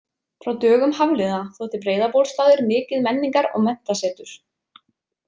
Frá dögum Hafliða þótti Breiðabólstaður mikið menningar- og menntasetur.